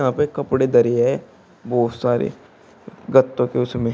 यहां पे कपड़े धरे है बहोत सारे गत्तों के उसमें--